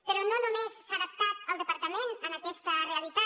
però no només s’ha adaptat el departament a aquesta realitat